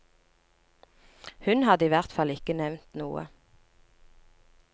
Hun hadde i hvert fall ikke nevnt noe.